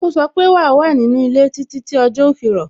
Ó sọ pé "wa wà ní inú ilé títí tí ọjọ́ ó fi rọ̀